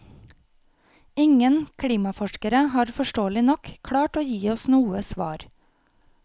Ingen klimaforskere har forståelig nok klart å gi oss noe svar.